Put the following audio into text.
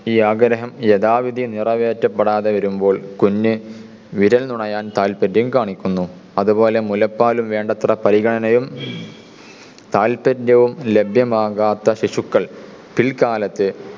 ഈ ആഗ്രഹം യഥാവിധി നിറവേറ്റപ്പെടാതെ വരുമ്പോൾ കുഞ്ഞു വിരൽ നുണയാൻ താല്പര്യം കാണിക്കുന്നു. അതുപോലെ മുലപ്പാലും വേണ്ടത്ര പരിഗണനയും താല്പര്യവും ലഭ്യമാകാത്ത ശിശുക്കൾ പിൽക്കാലത്തെ